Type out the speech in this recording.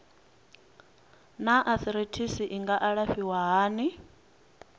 naa arthritis i nga alafhiwa hani